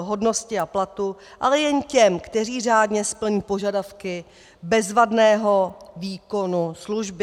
hodnosti a platu, ale jen těm, kteří řádně splní požadavky bezvadného výkonu služby.